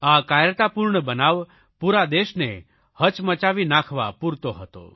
આ કાયરતાપૂર્ણ બનાવ પૂરા દેશને હચમચાવી નાખવા પૂરતો હતો